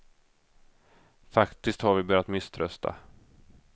Faktiskt har vi börjat misströsta.